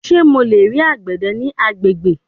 Ṣe Mo le rii agbede ni agbegbe